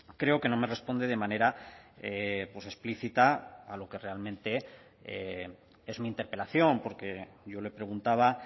creo que no me responde de manera explícita a lo que realmente es mi interpelación porque yo le preguntaba